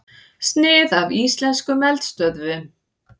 Snið af íslenskum eldstöðvum.